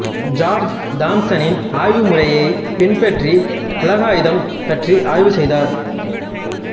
George தாம்சனின் ஆய்வுமுறையைப் பின்பற்றி உலகாயதம் பற்றி ஆய்வு செய்தார்